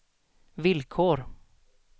villkor